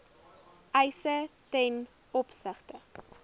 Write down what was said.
eise ten opsigte